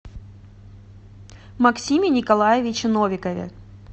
максиме николаевиче новикове